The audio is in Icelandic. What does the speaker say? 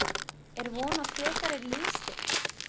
Er von á frekari liðsstyrk?